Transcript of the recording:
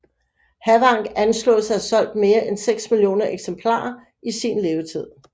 Havank anslås at have solgt mere end 6 millioner eksemplarer i sin levetid